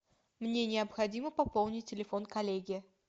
мне необходимо пополнить телефон коллеги